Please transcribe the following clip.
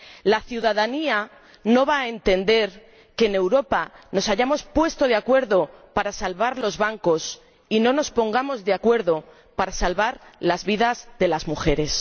La ciudadanía no va a entender que en Europa nos hayamos puesto de acuerdo para salvar los bancos y no nos pongamos de acuerdo para salvar las vidas de las mujeres.